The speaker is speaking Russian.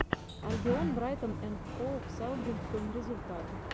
альбион брайтон энд хоув саутгемптон результаты